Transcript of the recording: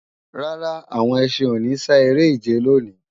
Rárá, àwọn ẹṣin ò ní sá eré-ìje lòní